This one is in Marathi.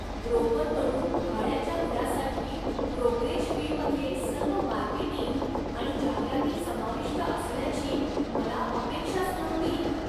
ब्रोकरकडून भाड्याच्या घरासाठी ब्रोकरेज फीमध्ये सर्व मार्केटिंग आणि जाहिराती समाविष्ट असण्याची मला अपेक्षाच नव्हती!